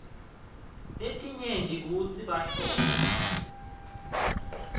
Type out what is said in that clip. letinyenti kutsi bahlolwa